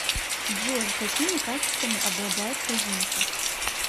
джой какими качествами обладает козинцев